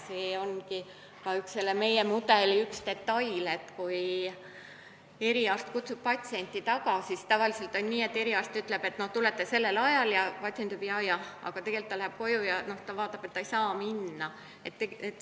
See ongi selle meie mudeli üks detaile, et kui eriarst kutsub patsiendi tagasi, siis tavaliselt on nii, et eriarst ütleb, et tulete sellel ajal ja patsient ütleb jaa-jah, aga tegelikult läheb koju ja seal vaatab, et ta siiski ei saa minna.